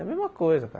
É a mesma coisa, cara.